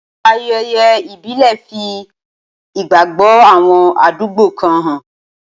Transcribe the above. Ayẹyẹ ìbílẹ̀ fi ìgbàgbọ́ àwọn àdúgbò kan hàn